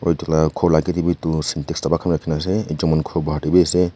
etu lah ghor lah age teh bhi cintex dhaba khan bhi rakhi ke na ase ekjon mankhor kia teh bhi ase.